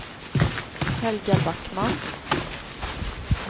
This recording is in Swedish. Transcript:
Helga Backman